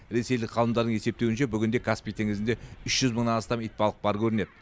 ресейлік ғалымдардың есептеуінше бүгінде каспий теңізінде үш жүз мыңнан астам итбалық бар көрінеді